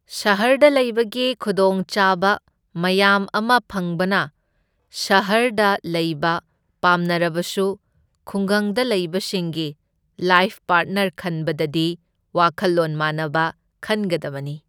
ꯁꯍꯔꯗ ꯂꯩꯕꯒꯤ ꯈꯨꯗꯣꯡꯆꯥꯕ ꯃꯌꯥꯝ ꯑꯃ ꯐꯪꯕꯅ ꯁꯍꯔꯗ ꯂꯩꯕ ꯄꯥꯝꯅꯔꯕꯁꯨ ꯈꯨꯡꯒꯪꯗ ꯂꯩꯕꯁꯤꯡꯒꯤ ꯂꯥꯏꯐ ꯄꯥꯔꯠꯅꯔ ꯈꯟꯕꯗꯗꯤ ꯋꯥꯈꯜꯂꯣꯟ ꯃꯥꯟꯅꯕ ꯈꯟꯒꯗꯕꯅꯤ꯫